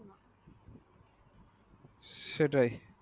সেটাই।